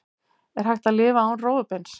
Er hægt að lifa án rófubeins?